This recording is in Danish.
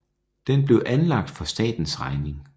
Den blev anlagt for statens regning